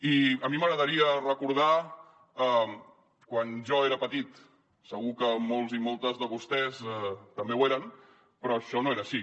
i a mi m’agradaria recordar quan jo era petit segur que molts i moltes de vostès també n’eren però això no era així